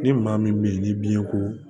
Ni maa min bɛ yen ni biɲɛ ko